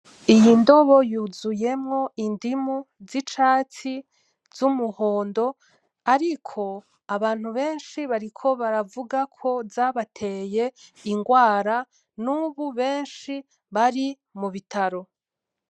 Iyo ndobo yuzuyemwo indimu zicatsi, z'umuhondo. Ariko abantu benshi bariko baravugako zabateye ingwara, nubu benshi bari mu bitaro.